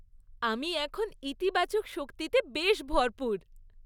আমি এখন ইতিবাচক শক্তিতে বেশ ভরপুর।